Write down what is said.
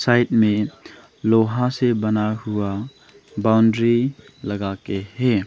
Side में लोहा से बना हुआ बाउंड्री लगा के है।